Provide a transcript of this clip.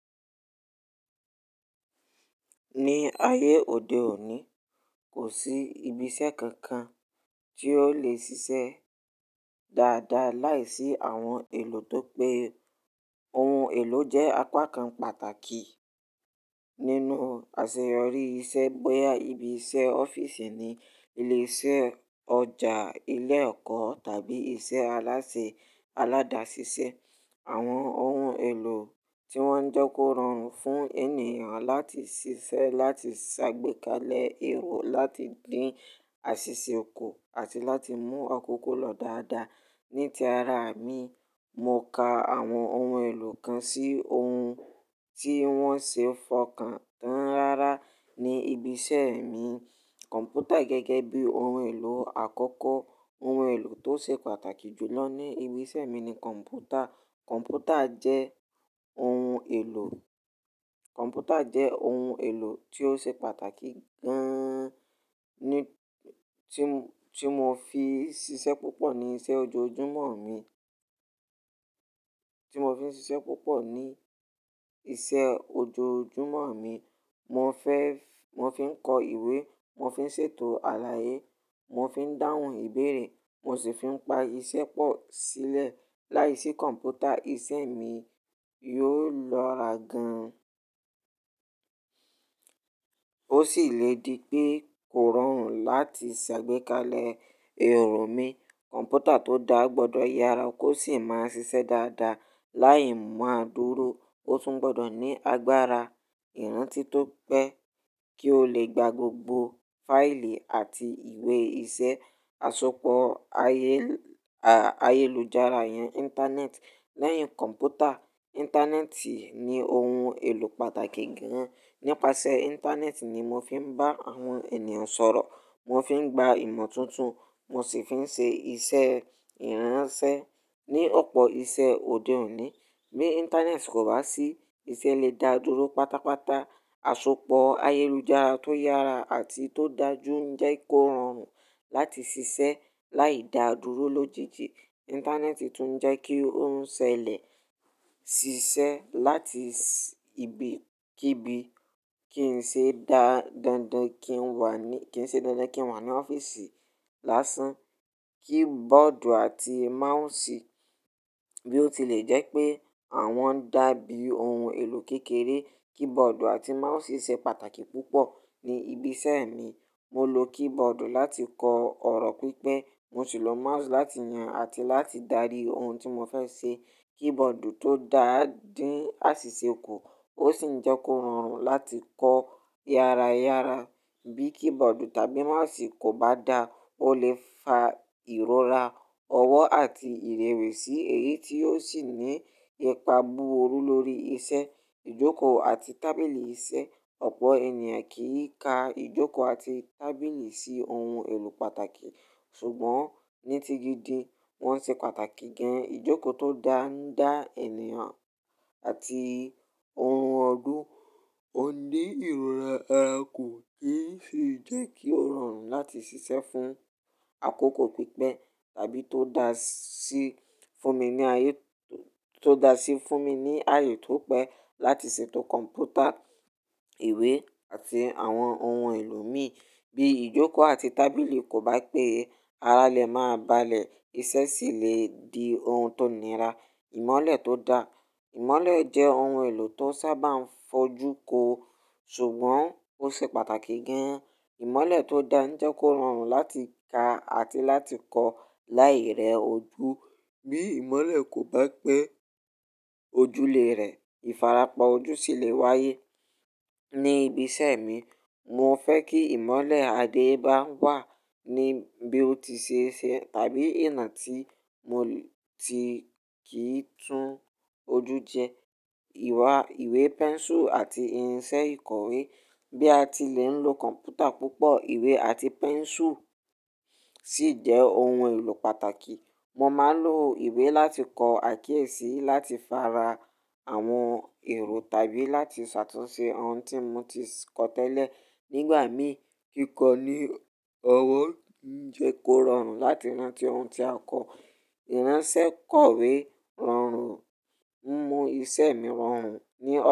Ní ayé òde òní, kò sí ibiṣẹ́ kankan tí ó lè ṣiṣẹ́ dáadáa láìsí àwọn èlò tó pé. Ohun èlò jẹ́ apá kan pàtàkì nínú àṣeyọrí iṣẹ́. Bóyá ibi iṣẹ́ ọ́fíìsì ni, ilé iṣẹ́, ọjà, ilé ẹ̀kọ́ tàbí iṣẹ́ alásè aládàṣiṣẹ́. Àwọn ohun èlò tí wọ́n ń jẹ́ kó rọrùn fún ènìyàn láti ṣiṣẹ́, láti ṣàgbékalẹ̀ èrò, láti dín àṣìṣe kù àti láti mú àkókò lọ dáadáa. Ní ti ara mi, mo ka àwọn ohun èlò kan sí ohun tí wọ́n ṣe fọkàn tán rárá ní ibi iṣẹ́ mi. Kọ̀mpútà gẹ́gẹ́ bí ohun èlò àkọ́kọ́. Ohun èlò tó ṣe pàtàkì jù lọ ní ibi iṣẹ́ mi ni kọ̀mpútà. Kọ̀mpútà jẹ́ ohun èlò, kọ̀mpútà jẹ́ ohun èlò tí ó ṣe pàtàkì gan-an tí, tí mo fi ń ṣiṣẹ́ púpọ̀ ní iṣẹ́ ojoojúmọ́ mi, tí mo fi ń ṣiṣẹ́ púpọ̀ ní iṣẹ́ ojoojúmọ́ mi. Mo fẹ́, mo fi ń kọ ìwé, mo fi ń ṣètò àlàyé, mo fi ń dáhùn ìbéèrè, mo sì fi ń pa iṣẹ́ pọ̀ sílẹ̀. Láìsí kọ̀mpútà, ìṣe mi yóò lọra gan-an. Ó sì lè di pé kò rọrùn láti ṣàgbékalẹ̀ èrò mi. Kọ̀mpútà tó dáa gbọdọ̀ yára, kó sì máa ń ṣiṣẹ́ dáadáa láì máa dúró. Ó tún gbọdọ̀ ní agbára ìrántí tó pé kí ó lè gba gbogbo fáìlì àti ìwé iṣẹ́. Àsopọ̀ ayé, à, ayélujára yẹn, íńtánẹ́ẹ̀tì. Lẹ́yìn kọ̀mpútà, íńtánẹ́ẹ̀tì ní ohun èlò pàtàkì gan-an. Nípasẹ̀ íńtánẹ́ẹ̀tì ni mo fi ń bá àwọn ènìyàn sọ̀rọ̀, mo fi ń gba ìmọ̀ tuntun, mo sì fi ń ṣe iṣẹ́ ìránṣẹ́ ní ọ̀pọ̀ iṣẹ́ òde òní. Bí íńtánẹ́ẹ̀tì kò bá sí, iṣẹ́ lè da dúró pátápátá. Àsopọ̀ ayélujára tó yára àti tó dájú ń jẹ́ kó rọrùn láti ṣiṣẹ́ láì da dúró lójijì. Íńtánẹ́ẹ̀tì tún ń jẹ́ kí ó ń ṣẹlẹ̀ ṣiṣẹ́ láti ibi kíbi kí n ṣe dá dandan kí n wà ní, kí n ṣe dandan kí n wà ní ọ́fíìsì lásán. Kibọọdu àti máùsì. Bí ó ti lè jẹ́ pé àwọn ń dàbí ohun èlò kékeré, kibọọdu àti máùsì ṣe pàtàkì púpọ̀ ní ibi iṣẹ́ mi. Mo lo kibọọdu láti kọ ọ̀rọ̀ pípẹ́. Mo sì lo máùsì láti yàn àti láti darí ohun tí mo fẹ́ ṣe. Kibọọdu tó dáa ń dín àṣìṣe kù, ó sì ń jẹ́ kó rọrùn láti kọ yára yára. Bí kibọọdu tàbí máùsì kò bá dáa, ó lè fa ìrora ọwọ́ àti ìrẹ̀wẹ̀sì, èyí tí yóò sì ní ìpà búburú lórí iṣẹ́. Ìjoko àti tábìlì iṣẹ́. Ọ̀pọ̀ ènìyàn kì í ka ìjókòó àti tábìlì sí ohun èlò pàtàkì, ṣùgbọ́n ní ti gídi wọ́n ṣe pàtàkì gan-an. Ìjoko tó dáa ń dá ènìyàn àti oorun ọdún, kó ní ìrora ara ko nì í fi jẹ́ kí ó rọrùn láti ṣiṣẹ́ fún àkókò pípẹ́. Tàbí tó da sí fún mi ní ayé, tó da sí fún mi ní ayé tó pé láti ṣètò kọ̀mpútà, ìwé àti àwọn ohun èlò mi. Bí ìjókòó àti tábìlì kò bá pé ara lè máa balẹ̀, iṣẹ́ sì lè di ohun tó nira. Ìmọ́lẹ̀ tó da. Ìmọ́lẹ̀ jẹ́ ohun èlò tó sábà ń fojú ko, ṣùgbọ́n ó ṣe pàtàkì gan-an. Ìmọ́lẹ̀ tó da ń jẹ́ kó rọrùn láti ka àti láti kọ láì rẹ ojú. Bí ìmọ́lẹ̀ kò bá pé ojùlé rè, ìfarapa ojú sì lè wáyé. Ní ibi iṣẹ́ mi, mo fẹ́ kí ìmọ́lẹ̀ adé bá wà ní bí ó ti ṣe ṣẹ tàbí ìná tí mo ti kì í tún ojú jẹ. Ìwà, ìwé, pẹ́nsù àti irinṣẹ́ ìkọ̀wé. Bí a ti lè ń lo kọ̀mpútà púpọ̀, ìwé àti pẹ́nsù sì jẹ́ ohun èlò pàtàkì. Mo máa ń lo ìwé láti kọ àkíyèsí, láti fara àwọn èrò tàbí láti ṣàtúnṣe ohun tí mo ti kọ tẹ́lẹ̀. Nígbà mìíràn, kíkọ ní ọwọ́ ń jẹ́ kó rọrùn láti rán tí ohun tí a kọ. Iransẹ́ kọ̀wé rọrùn, ń mú iṣẹ́ mi rọrùn ní ọ.